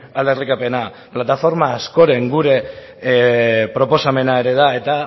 aldarrikapena plataforma askoren gure proposamena ere da eta